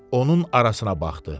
Onun arasına baxdı.